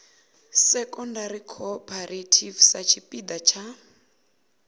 secondary cooperative sa tshipiḓa tsha